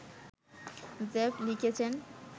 Jeff লিখেছেন